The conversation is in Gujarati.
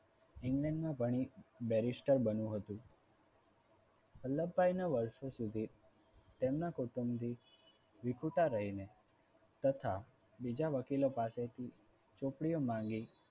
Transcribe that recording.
England માં ભણી barrister બનવું હતું. વલ્લભભાઈને વર્ષો સુધી તેમના કુટુંબથી વિખૂટા રહીને તથા બીજા વકીલો પાસેથી ચોપડીઓ માંગી.